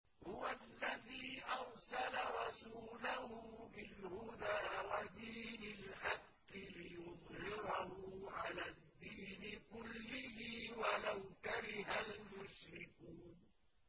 هُوَ الَّذِي أَرْسَلَ رَسُولَهُ بِالْهُدَىٰ وَدِينِ الْحَقِّ لِيُظْهِرَهُ عَلَى الدِّينِ كُلِّهِ وَلَوْ كَرِهَ الْمُشْرِكُونَ